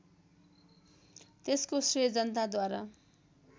त्यसको श्रेय जनताद्वारा